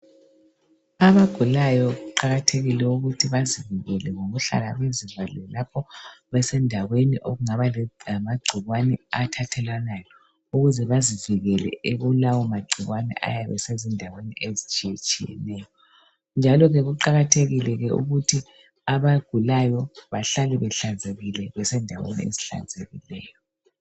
Abagulayo kuqakathekile ukuthi bazivikele ngokuhlala bezivalele lapho besendaweni okungaba lamagcikwane athathelwanayo ukuze bazivikele kulawomagciwane ayabe esezindaweni ezitshiyatshiyeneyo njalo ke kuqakathekile ke ukuthi abagulayo bahlale behlanzekile besendaweni ezihlanzekileyo.